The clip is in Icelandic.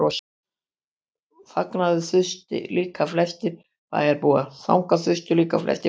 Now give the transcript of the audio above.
Þangað þustu líka flestir bæjarbúar.